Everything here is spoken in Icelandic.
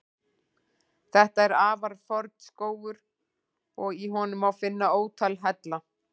Þetta er afar forn skógur og í honum má finna ótal hella.